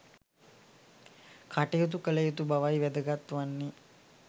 කටයුතු කළ යුතු බවයි වැදගත් වන්නේ